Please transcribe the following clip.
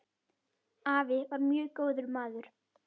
Afi var mjög góður maður.